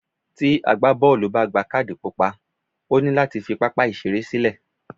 Tí agbá bọ́ọ̀lù bá gba kádì pupa, ó ní láti fi pápá ìṣeré sílẹ̀.